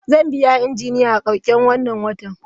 Zan biya Injiniya a karshen wannan watan.